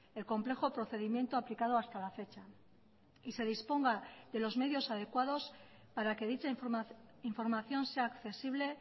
el complejo procedimiento aplicado hasta la fecha y se disponga de los medios adecuados para que dicha información sea accesible